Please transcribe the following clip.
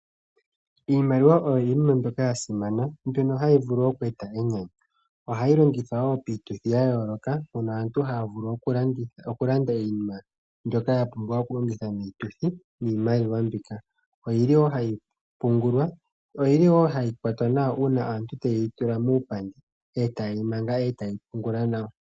Iimaliwa oyo iinima mbyoka ya simana, mbono hayi vulu okueta enyanyu. Ohayi longithwa wo piituthi ya yooloka mpono aantu haya vulu okulanda iinima mbyono ya pumbiwa okulongitha miituthi niimaliwa mbika. Ohayi pungulwa, ohayi kwatwa wo nawa uuna aantu taye yi tula muupandi e taye yi manga, e taye yi pungula nawa.